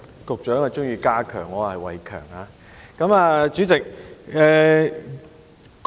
局長喜歡加強，我是"偉强"。